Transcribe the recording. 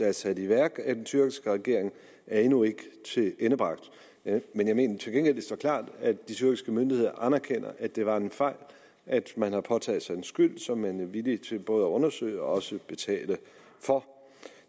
er sat i værk af den tyrkiske regering er endnu ikke tilendebragt men jeg mener til gengæld at det står klart at de tyrkiske myndigheder anerkender at det var en fejl og at man har påtaget sig en skyld som man er villig til både at undersøge og betale for